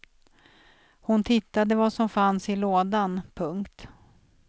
Hon tittade vad som fanns i lådan. punkt